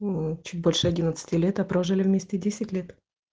ну чуть больше одиннадцати лет а прожили вместе десять лет